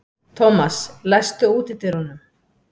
Thomas, læstu útidyrunum.